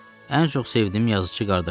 Ən çox sevdiyim yazıçı qardaşımdır.